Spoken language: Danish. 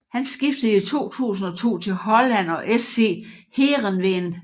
Han skiftede i 2002 til Holland og SC Heerenveen